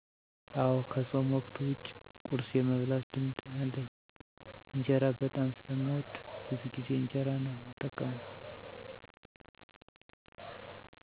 አወ ከፆም ወቅት ዉጭ ቁርስ የመብላት ልምድ አለኝ። እንጀራ በጣም ስለምወድ ብዙ ጊዜ እንጀራ ነው እምጠቀመው።